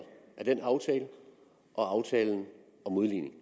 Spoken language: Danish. af den aftale og aftalen om udligning